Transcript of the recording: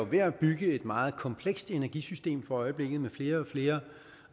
ved at bygge et meget komplekst energisystem for øjeblikket med flere og flere